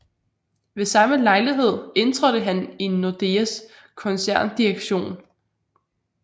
Ved samme lejlighed indtrådte han i Nordeas koncerndirektion